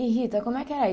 E Rita, como é que era isso?